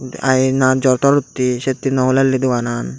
ina jor tor uttey settey no hulelli doganan.